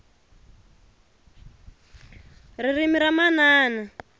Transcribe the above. ririmi ra manana